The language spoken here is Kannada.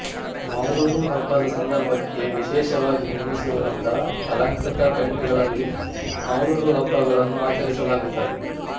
ಮೌಲುಡು ಹಬ್ಬದ ಸಂದರ್ಭಕ್ಕೆ ವಿಶೇಷವಾಗಿ ನಿರ್ಮಿಸಿರುವಂತ ಅಲಂಕೃತ ಟೆಂಟುಗಳಲ್ಲಿ ಮೌಲುಡು ಹಬ್ಬಗಳನ್ನು ಆಚರಿಸಲಾಗುತ್ತದೆ